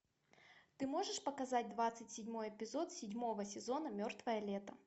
ты можешь показать двадцать седьмой эпизод седьмого сезона мертвое лето